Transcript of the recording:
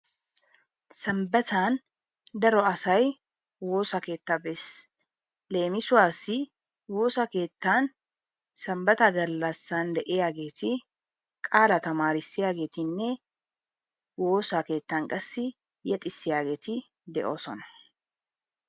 sambbatan daro asay woossa keettaa bees. Leemisuwaassi woossa keettan sambbaata galassan de'iyaageti qaalaa tamarissiyaagetinne woossa keettan qassi yeexxisiyaageeti de'oosona.